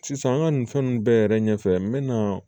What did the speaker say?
Sisan an ka nin fɛn ninnu bɛɛ yɛrɛ ɲɛfɛ n bɛ na